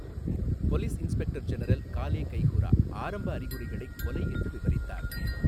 Police inspector general Galle கைஹுரா ஆரம்ப அறிகுறிகளைக் 'கொலை' என்று விவரித்தார்.